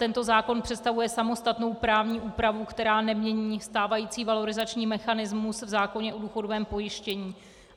Tento zákon představuje samostatnou právní úpravu, která nemění stávající valorizační mechanismus v zákoně o důchodovém pojištění.